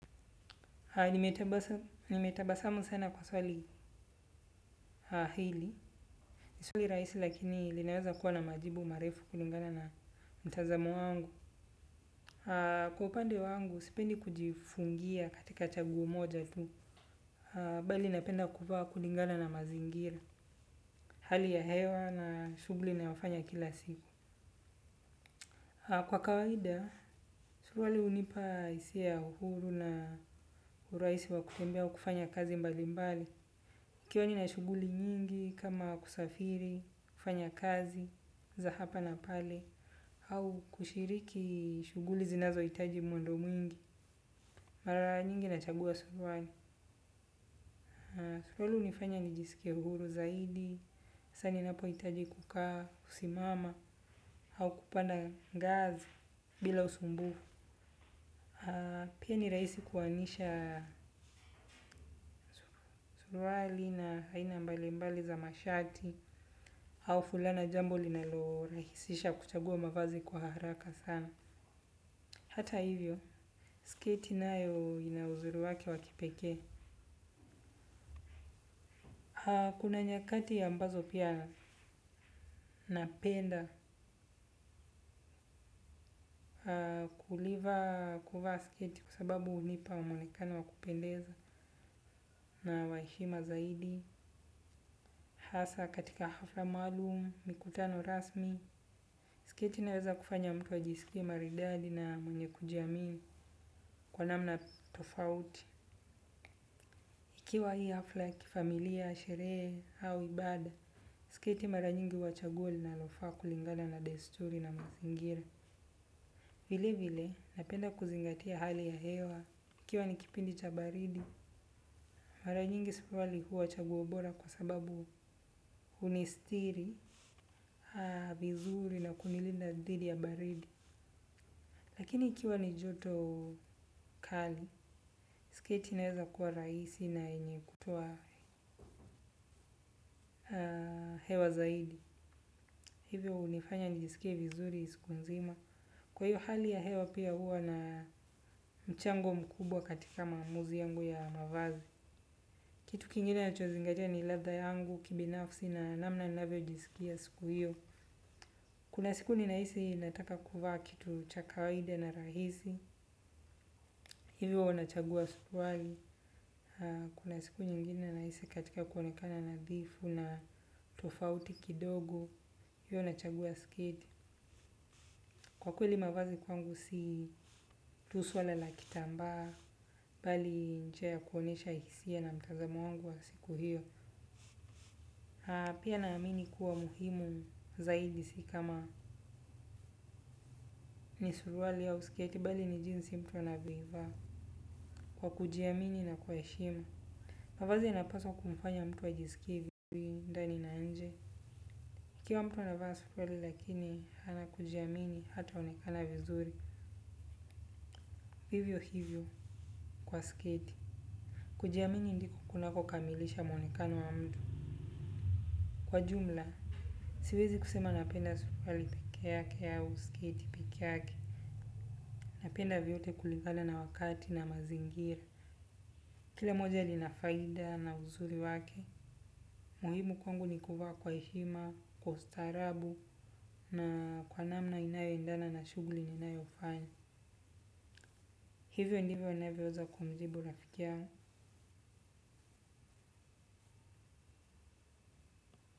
Nime tabasamu sana kwa swali hili. Swali rahisi lakini linaweza kuwa na majibu marefu kulingana na mtazamo wangu. Kwa upande wangu, sipendi kujifungia katika chaguo moja tu. Bali napenda kuvaa kulingana na mazingira. Hali ya hewa na shughuli ninayo fanya kila siku. Kwa kawaida suruali hunipa hisia ya uhuru na urahisi wa kutembea au kufanya kazi mbali mbali nikiwa nina shughuli nyingi kama kusafiri, kufanya kazi, za hapa na pale, au kushiriki shughuli zinazo hitaji mwendo mwingi, mara nyingi nachagua suruali. Suruali hunifanya ni jisikie huru zaidi, saa ninapo hitaji kukaa, kusimama, au kupanda ngazi bila usumbufu. Pia ni raisi kuanisha suruali na aina mbali mbali za mashati au fulana jambo linalo rahisisha kuchagua mavazi kwa haraka sana. Hata hivyo, sketi nayo ina uzuri wake wa kipekee. Kuna nyakati ambazo pia napenda kuliva kuvaa sketi. Kwasababu hunipa mwonekano wa kupendeza na wa heshima zaidi hasa katika hafla maalum, mikutano rasmi. Siketi inaweza kufanya mtu ajisikie maridadi na mwenye kujiamini kwa namna tofauti. Ikiwa hii hafla kifamilia, sherehe au ibada, siketi mara nyingi huwa chaguo linalofaa kulingana na desturi na mazingira. Vile vile, napenda kuzingatia hali ya hewa. Ikiwa nikipindi cha baridi, mara nyingi suruali huwa chaguo bora kwa sababu hunistiri, vizuri na kuni linda dhidi ya baridi. Lakini ikiwa ni joto kali, sketi inaweza kuwa rahisi na yenye kutoa hewa zaidi. Hivyo hunifanya njisikie vizuri siku nzima. Kwa hiyo hali ya hewa pia huwa na mchango mkubwa katika maamuzi yangu ya mavazi. Kitu kingine nina chozingatia ni ladha yangu, ki binafsi na namna ninavyo jisikia siku hiyo. Kuna siku ninahisi nataka kuvaa kitu cha kawaida na rahisi. Hivyo unachagua suruali, kuna siku nyingine nahisi katika kuonekana nadhifu na tofauti kidogo, hivyo nachagua sketi. Kwa kweli mavazi kwangu si tu swala la kitamba, bali ni njia kuonyesha hisia na mtazamo wangu wa siku hiyo. Pia naamini kuwa muhimu zaidi si kama ni suruali au sketi, bali ni jinsi mtu anavyo vaa kwa kujiamini na heshima. Mavazinyanapaswa kumfanya mtu ajisikie vizuri ndani na nje. Ikiwa mtu anavaa suruali lakini hana kujiamini hata onekana vizuri. Vivyo hivyo kwa sketi. Kujiamini ndiko kunako kamilisha muonekano wa mtu. Kwa jumla, siwezi kusema napenda suruali peke yake au sketi peke yake. Napenda vyote kulingana na wakati na mazingira. Kila moja lina faida na uzuri wake. Muhimu kwangu ni kuvaa kwa heshima, kwa ustaraabu na kwa namna inayo endana na shughuli ninayo fanya. Hivyo ndivyo inavyoweza kumjibu rafiki yangu.